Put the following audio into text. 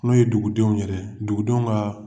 N'o ye dugudenw yɛrɛ ye, dugudenw kaa